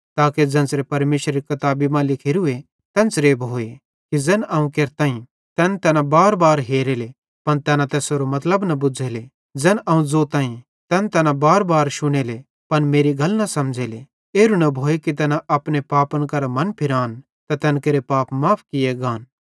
ताके ज़ेन्च़रां परमेशरेरी किताबी मां लिखोरूए तेन्च़रां भोए कि ज़ैन अवं केरतईं तैन तैना बारबार हेरेले पन तैना तैसेरो मतलब न बुज़्झ़ेले ज़ैन अवं ज़ोतईं तैन तैना बारबार शुनेले पन मेरी गल न समझ़ेले एरू न भोए कि तैना अपने पापन करां मनफिरान त तैन केरे पाप माफ़ किये गान